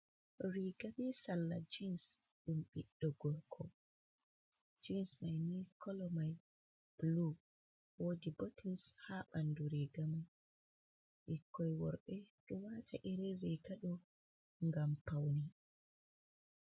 Riga bee salla jeans dtum ɓiɗɗo gorko jeam mai nii kolo mai bulu, woodi botins haa bandu riga mai ɓikkoii worbe ɗo waata irin riiga ɗo ngam pawne.